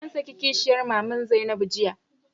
An saki kishiyar maman Zainabu jiya.